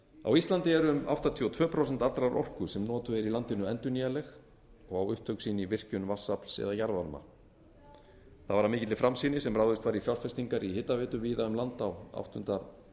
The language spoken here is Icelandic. á íslandi eru um áttatíu og tvö prósent allrar orku sem notuð er í landinu endurnýjanleg og á upptök sín í virkjun vatnsafls eða jarðvarma það var af mikilli framsýni sem ráðist var í fjárfestingar í hitaveitu víða um land á áttunda